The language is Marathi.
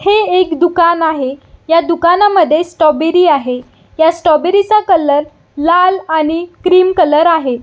हे एक दुकान आहे ह्या दुकानामध्ये स्ट्रॉबेरी आहे ह्या स्ट्रॉबेरी चा कलर लाल आहे.